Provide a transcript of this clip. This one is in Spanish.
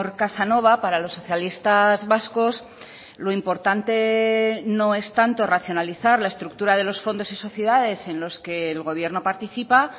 casanova para los socialistas vascos lo importante no es tanto racionalizar la estructura de los fondos y sociedades en los que el gobierno participa